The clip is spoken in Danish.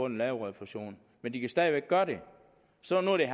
lave refusion men de kan stadig væk gøre det så nu er det